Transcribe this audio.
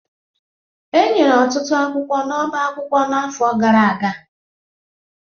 Enyere ọtụtụ akwụkwọ n'ọbá akwụkwọ n'afọ gara aga